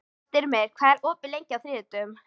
Styrmir, hvað er opið lengi á þriðjudaginn?